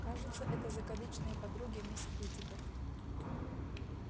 кажется это закадычные подруги мисс питтипэт